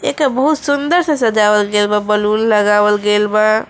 एके बहुत सुन्दर से सजावल गइल बा बैलून लगावल गइल बा।